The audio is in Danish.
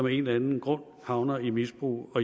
en eller anden grund havner i misbrug